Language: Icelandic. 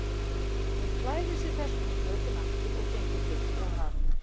Hún klæðir sig þessvegna í fötin aftur og gengur burt frá hafinu.